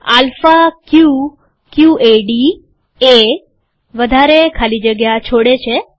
alpha કયું કયુંએડી એ વધારે જગ્યા છોડે છે